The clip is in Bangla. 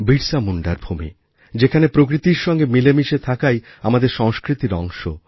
বিরসা মুণ্ডার ভূমি যেখানে প্রকৃতির সঙ্গে মিলেমিশে থাকাই আমাদের সংস্কৃতির অংশ